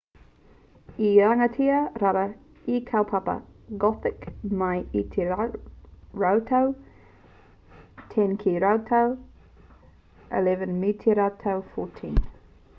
i rangatira rawa te kaupapa gothic mai i te rautau 10 ki te rautau 11 me te rautau 14